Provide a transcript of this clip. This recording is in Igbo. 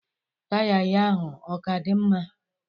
Taya ya ahụ ọ ka dị mma?